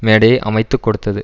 மேடையை அமைத்து கொடுத்தது